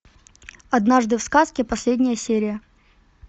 однажды в сказке последняя серия